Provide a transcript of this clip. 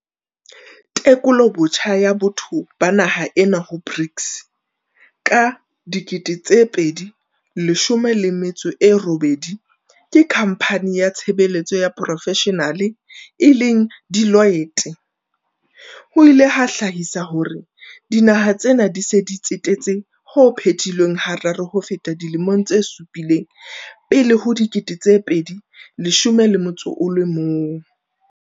Tekolobotjha ya botho ba naha ena ho BRICS ka 2018 ke khampane ya tshebe letso tsa profeshenale e leng Deloitte, ho ile ha hlahisa hore dinaha tsena di se di tsetetse ho phetilweng hararo ho feta dilemong tse supileng pele ho 2011.